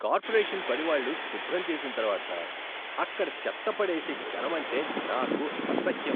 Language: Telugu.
కార్పొరేషన్ పనివాళ్ళు శుభ్రం చేసిన తర్వాత అక్కడ చెత్త పడేసే జనమంటే నాకు అసహ్యం.